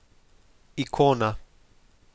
Ikona.